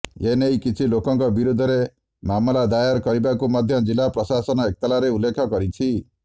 ଏନେଇ କିଛି ଲୋକଙ୍କ ବିରୋଧରେ ମାମଲା ଦାୟାର କରିବାକୁ ମଧ୍ୟ ଜିଲ୍ଲା ପ୍ରଶାସନ ଏତଲାରେ ଉଲ୍ଲେଖ କରିଛି